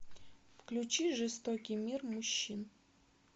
включи жестокий мир мужчин